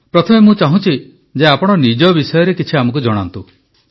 ପ୍ରଥମେ ମୁଁ ଚାହୁଁଛି ଯେ ଆପଣ ନିଜ ବିଷୟରେ କିଛି ଆମକୁ ଜଣାନ୍ତୁ